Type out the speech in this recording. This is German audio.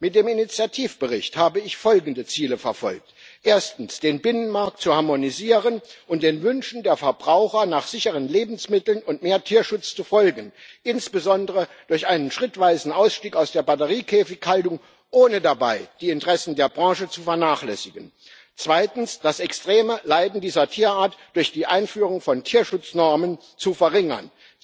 Mit dem Initiativbericht habe ich folgende Ziele verfolgt Erstens den Binnenmarkt zu harmonisieren und den Wünschen der Verbraucher nach sicheren Lebensmitteln und mehr Tierschutz zu folgen, insbesondere durch einen schrittweisen Ausstieg aus der Batteriekäfighaltung ohne dabei die Interessen der Branche zu vernachlässigen, zweitens das extreme Leiden dieser Tierart durch die Einführung von Tierschutznormen zu verringern